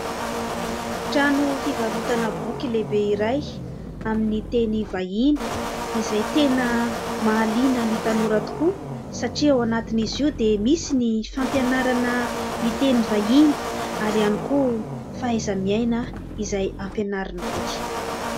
Trano fivarotana boky lehibe iray amin'ny teny vahiny ; izay tena mahaliana ny tanora tokoa satria ao anatin'izy io dia misy ny fampianarana miteny vahiny ary ihany koa fahaiza-miaina izay ampianaran'ny boky.